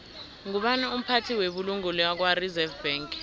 ngubani umphathi webulungo lakwareserve bank